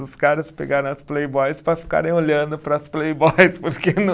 Os caras pegaram as Playboys para ficarem olhando para as Playboys, porque não